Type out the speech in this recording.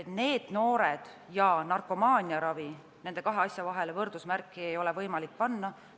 NEET-noored ja narkomaaniaravi – nende kahe asja vahele võrdusmärki ei ole võimalik panna.